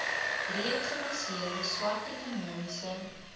breedgebaseerde swart ekonomiese